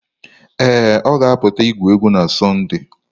Ee, ọ ga-apụta igwu egwu na Sọnde